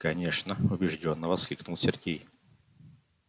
конечно убеждённо воскликнул сергей